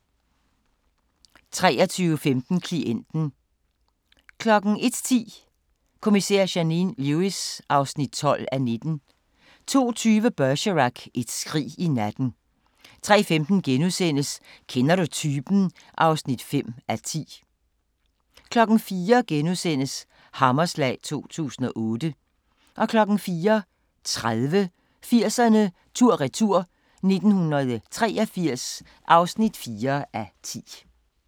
23:15: Klienten 01:10: Kommissær Janine Lewis (12:19) 02:20: Bergerac: Et skrig i natten 03:15: Kender du typen? (5:10)* 04:00: Hammerslag 2008 * 04:30: 80'erne tur-retur: 1983 (4:10)